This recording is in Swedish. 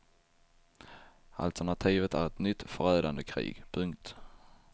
Alternativet är ett nytt förödande krig. punkt